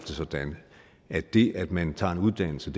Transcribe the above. sådan at det at man tager en uddannelse